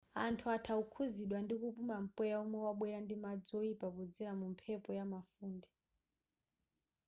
anthu atha kukhuzidwa ndikupuma mpweya womwe wabwera ndi madzi oyipa podzera mu mphepo ndi mafunde